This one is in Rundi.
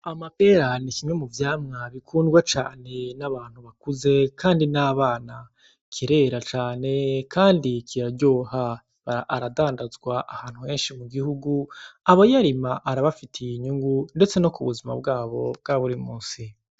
Amapera n'ikimwe muvyamwa bikundwa cane n'abantu bakuze kandi n'abana kirera cane kandi kiraryoha ,Aradandazwa ahantu heshi mugihugu abayarima arabafitiye inyungu ndetse no mubuzima bwabo bwaburi munsi.